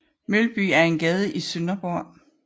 Mølby er en gade i Sønderborg